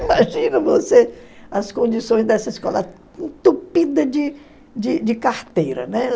Imagina você as condições dessa escola entupida de carteira, né?